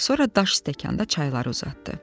Sonra daş stəkanda çayları uzatdı.